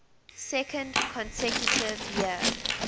second consecutive year